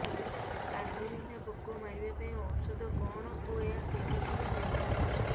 କାଣ୍ଡବିନ୍ଧା ପୋକ ମାରିବା ପାଇଁ ଔଷଧ କଣ ଓ ଏହା କେଉଁଠାରୁ ମିଳିବ